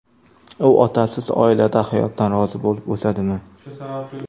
U otasiz oilada hayotdan rozi bo‘lib o‘sadimi?